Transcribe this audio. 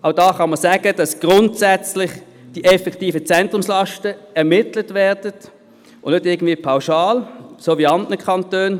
Auch da können wir sagen, dass grundsätzlich die effektiven Zentrumslasten ermittelt werden und nicht irgendwie pauschal, so wie in anderen Kantonen.